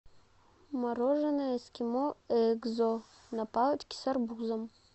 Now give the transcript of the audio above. мороженое эскимо экзо на палочке с арбузом